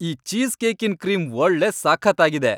ಈ ಚೀಸ್ ಕೇಕಿನ್ ಕ್ರೀಮ್ ಒಳ್ಳೆ ಸಖತ್ತಾಗಿದೆ.